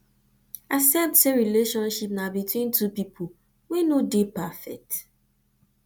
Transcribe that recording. accept sey relationship na between two pipo wey no dey perfect